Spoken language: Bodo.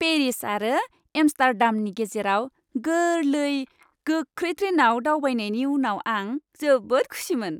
पेरिस आरो एम्स्टार्डामनि गेजेराव गोरलै, गोख्रै ट्रेनआव दावबायनायनि उनाव आं जोबोद खुसिमोन।